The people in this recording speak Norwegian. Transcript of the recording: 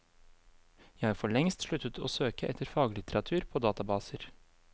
Jeg har forlengst sluttet å søke etter faglitteratur på databaser.